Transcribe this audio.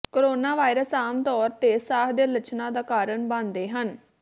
coronavirus ਆਮ ਤੌਰ ਤੇ ਸਾਹ ਦੇ ਲੱਛਣਾਂ ਦਾ ਕਾਰਨ ਬਣਦੇ ਹਨ